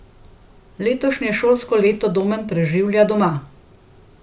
Letošnje šolsko leto Domen preživlja doma.